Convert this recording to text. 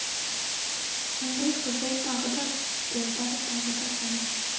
қандай қыжыл тағы да долбар тағы да жала